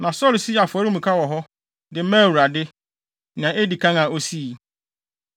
Na Saulo sii afɔremuka wɔ hɔ, de maa Awurade, nea edi kan a osii.